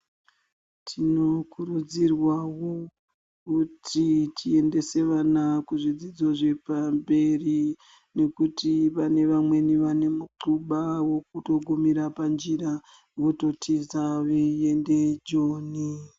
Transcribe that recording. Tinokurudzirwawo kuti tiendese vana kuzvidzidzo zvepamberi nekuti vane vamweni pekutogumira panjira vototiza vachienda Joni.